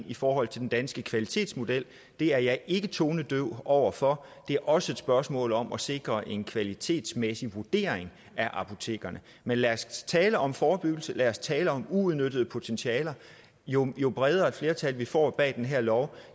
i forhold til den danske kvalitetsmodel det er jeg ikke tonedøv over for det er også et spørgsmål om at sikre en kvalitetsmæssig vurdering af apotekerne men lad os tale om forebyggelse lad os tale om uudnyttede potentialer jo jo bredere et flertal vi får bag den her lov